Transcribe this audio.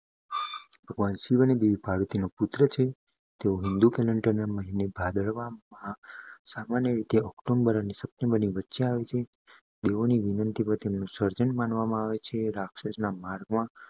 ભગવાન શિવ અને દેવી પાર્વતીના પુત્ર છે. તે હિન્દુ કેલેન્ડર મહિના ભાદરવો માં સામાન્ય રીતે ઓગસ્ટ અને સપ્ટેમ્બરની વચ્ચે આવે છે દેવોની વિનંતી પર તેમનું સર્જન માનવામાં આવે છે રાક્ષસોના માર્ગમાં